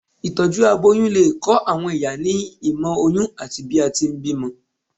itọju aboyún le kọ àwọn ìyá ní ìmọ oyin ati bi a ti n bímọ